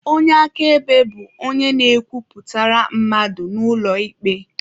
Onye akaebe bu onye na-ekwuputara mmadụ n'ụlọ ikpe.